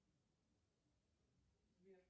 джой давай приготовим завтрак